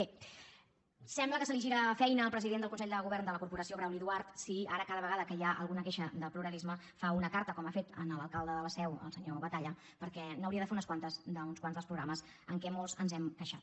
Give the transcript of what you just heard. bé sembla que se li gira feina al president del consell de govern de la corporació brauli duart si ara cada vegada que hi ha alguna queixa de pluralisme fa una carta com ha fet a l’alcalde de la seu al senyor batalla perquè n’hauria de fer unes quantes d’uns quants dels programes de què molts ens hem queixat